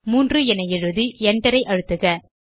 3 என எழுதி enter ஐ அழுத்துக